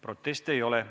Proteste ei ole.